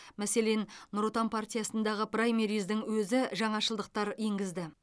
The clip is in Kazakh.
мәселен нұр отан партиясындағы праймерездің өзі жаңашылдықтар енгізді